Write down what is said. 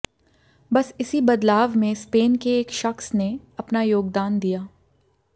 बस इसी बदलाव में स्पेन के एक शख्स ने अपना योगदान दिया